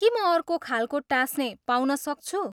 के म अर्को खालको टाँस्ने पाउन सक्छु?